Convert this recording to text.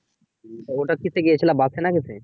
ওটা কিসে গিয়েছিলা বাসে না কিসে